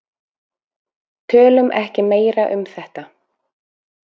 Tölum ekki meira um þetta.